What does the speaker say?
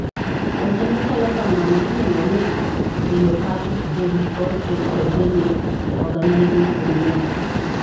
Weche machalo kamano iluong'o ni diopathic BOOP or cryptogenic organizing pneumonia.